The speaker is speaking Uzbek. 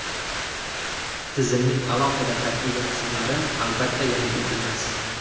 Tizimning alohida tarkibiy qismlari, albatta, yangilik emas.